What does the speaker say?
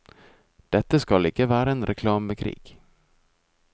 Dette skal ikke være en reklamekrig.